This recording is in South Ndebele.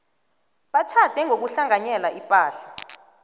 batjhade ngokuhlanganyela ipahla